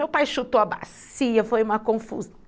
Meu pai chutou a bacia, foi uma confu